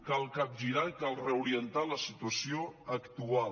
cal capgirar i cal reorientar la situació actual